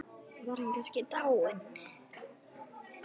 Var hann kannski dáinn?